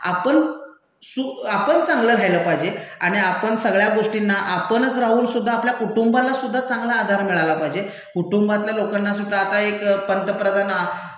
आपण चांगलं राह्यलं पाहिजे आणि आपण सगळ्या गोष्टींना आपणच राहूनसुद्धा आपल्या कुटुंबालासुद्धा चांगला आधार मिळाला पाहिजे, कुटुंबातल्या लोकांनासुद्धा आता एक पंतप्रधान